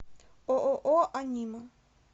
ооо анима